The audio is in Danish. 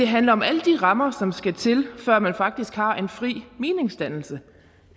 handler om alle de rammer som skal til før man faktisk har en fri meningsdannelse